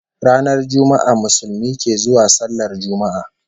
Ranar Juma'a Musulmi ke zuwa sallar Juma'a